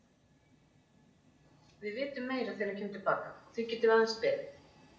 Við vitum meira þegar hann kemur til baka og því getum við aðeins beðið.